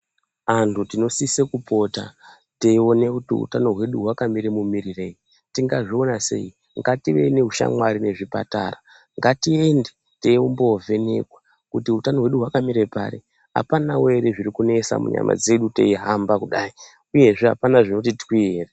Anhu tinosise kupota teiona kuti utano hwedu hakamire mumirirei. Tingazviona sei, ngativei neushamwari nezvipatara. Ngatiende teimboovhenekwa kuti hutano hwedu hwakamira pari, hapanawo here zvirikunesa munyama dzedu teihamba kudai uyezve hapana zvinoti twi here.